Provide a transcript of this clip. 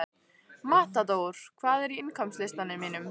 Matador, hvað er á innkaupalistanum mínum?